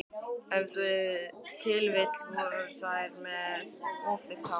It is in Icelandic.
Ef til vill voru þeir með of þykkt hár.